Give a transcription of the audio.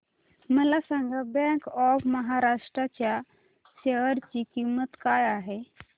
मला सांगा bank of Maharashtra च्या शेअर ची किंमत काय आहे